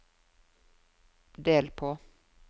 del på